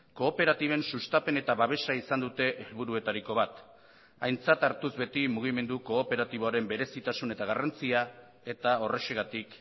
kooperatiben sustapen eta babesa izan dute helburuetariko bat aintzat hartuz beti mugimendu kooperatiboaren berezitasun eta garrantzia eta horrexegatik